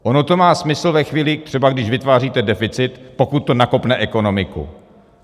Ono to má smysl ve chvíli třeba, když vytváříte deficit, pokud to nakopne ekonomiku.